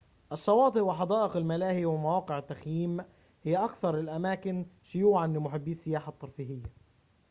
الشواطئ وحدائق الملاهي ومواقع التخييم هي أكثر الأماكن شيوعًا لمحبي السياحة الترفيهية